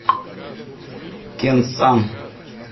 кенсан